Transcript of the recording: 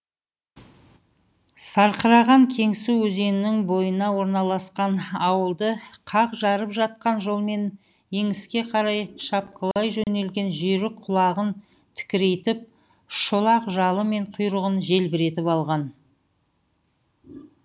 сарқыраған кеңсу өзенінің бойына орналасқан ауылды қақ жарып жатқан жолмен еңіске қарай шапқылай жөнелген жүйрік құлағын тікірейтіп шолақ жалы мен құйрығын желбіретіп алған